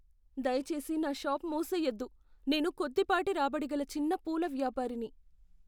దయచేసి నా షాప్ మూసేయొద్దు. నేను కొద్దిపాటి రాబడిగల చిన్న పూల వ్యాపారిని.